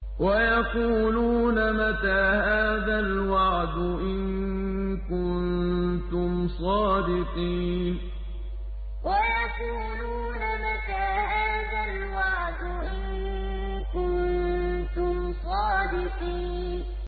وَيَقُولُونَ مَتَىٰ هَٰذَا الْوَعْدُ إِن كُنتُمْ صَادِقِينَ وَيَقُولُونَ مَتَىٰ هَٰذَا الْوَعْدُ إِن كُنتُمْ صَادِقِينَ